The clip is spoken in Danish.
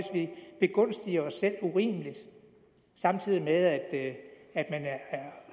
begunstige os selv urimeligt samtidig med at at man